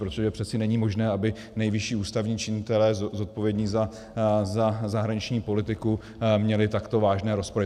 Protože přece není možné, aby nejvyšší ústavní činitelé zodpovědní za zahraniční politiku měli takto vážné rozpory.